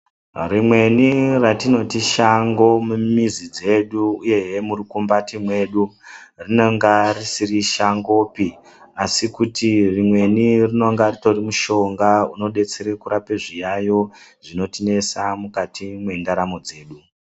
Rimweni ratinoti shango mumizi dzedu uyezve murukumbati mwedu rinenge risiri shangopi asi kuti rimweni rinenge ritori mushonga unodetsera kurapa zviyayiyo zvinotinesa mukati mwendaramo dzedu.